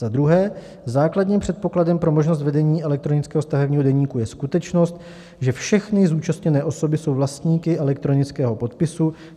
Za druhé, základním předpokladem pro možnost vedení elektronického stavebního deníku je skutečnost, že všechny zúčastněné osoby jsou vlastníky elektronického podpisu.